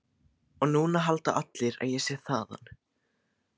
Og núna halda allir að ég sé þaðan.